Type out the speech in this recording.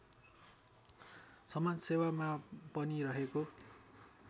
समाजसेवामा पनि रहेको